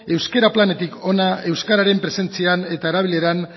euskara planetik hona euskararen presentzian eta erabileran